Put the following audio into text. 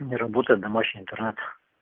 не работает домашний интернет